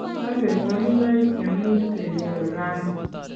angen wolunoik che much kenyorun rauni